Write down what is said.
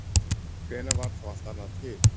Hvenær varð þá allt annað til?